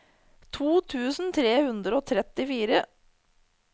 to tusen tre hundre og trettifire